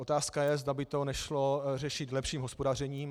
Otázka je, zda by to nešlo řešit lepším hospodařením.